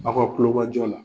Aw ka kulomajɔ la